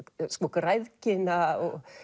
græðgina